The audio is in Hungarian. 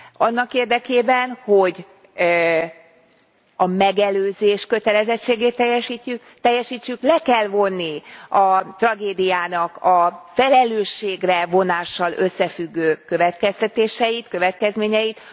Annak érdekében, hogy a megelőzés kötelezettségét teljesítsük, le kell vonni a tragédiának a felelősségre vonással összefüggő következtetéseit, következményeit.